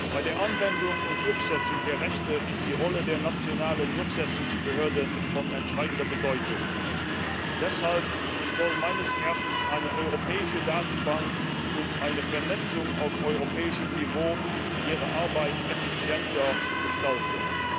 Bei der Anwendung und Durchsetzung der Rechte ist die Rolle der nationalen Durchsetzungsbehörden von entscheidender Bedeutung. Deshalb soll meines Erachtens eine europäische Datenbank und eine Vernetzung auf europäischem Niveau ihre Arbeit effizienter gestalten.